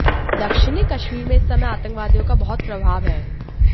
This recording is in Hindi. दक्षिणी कश्मीर में इस समय आतंकवादियों का बहुत प्रभाव है